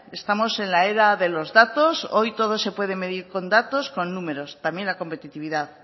estamos en la era de los datos hoy todo se puede medir con datos y con números también la competitividad